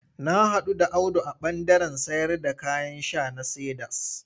Na haɗu da Audu a ɓandaren sayarda kayan sha na Cedars.